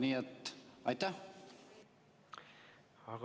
Nii et aitäh!